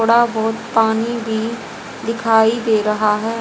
थोड़ा बहुत पानी भी दिखाई दे रहा है।